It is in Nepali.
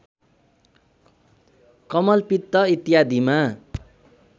कमलपित्त इत्यादिमा